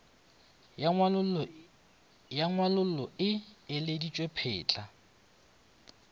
ya ngwalollo e ileditšwe phetla